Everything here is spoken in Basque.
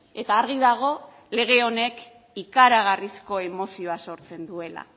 eta argi dago lege honek ikaragarrizko emozioa sortzen duela